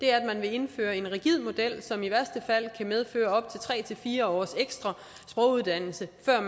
er at man vil indføre en rigid model som i værste fald kan medføre op til tre fire års ekstra sproguddannelse før